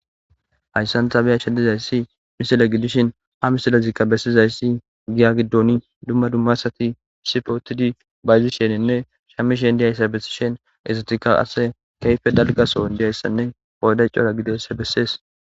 Hayssantha beya shedizayssi misile gidishin ha misilezikka bessizayssi giya giddoni dumma dummasati isipootidi bayzisheninne shammishen diyayssa bessishen ezatika ase keyfe dalgaso diyayssanne pooday cora gidesse bessees.